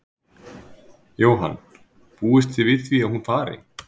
Jóhann: Búist þið við því að hún fari?